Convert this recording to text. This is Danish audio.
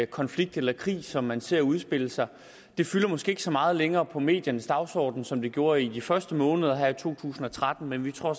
konflikt eller krig som man ser udspille sig det fylder måske ikke så meget længere på mediernes dagsorden som det gjorde i de første måneder her i to tusind og tretten men vi tror